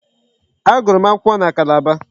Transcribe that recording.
Agụrụ m akwụkwọ na Calabar.